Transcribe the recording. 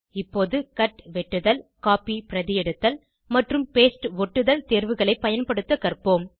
இப்போது cut வெட்டுதல் copy பிரதியெடுத்தல் மற்றும் paste ஒட்டுதல் தேர்வுகளை பயன்படுத்த கற்போம்